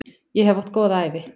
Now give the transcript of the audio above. Ég hef átt góða ævi.